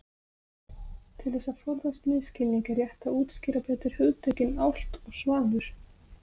Til þess að forðast misskilning er rétt að útskýra betur hugtökin álft og svanur.